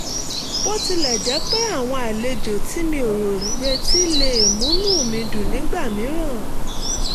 bó tilẹ̀ jẹ́ pé àwọn àlejò tí mi ò retí lè múnú mi dùn nígbà mìíràn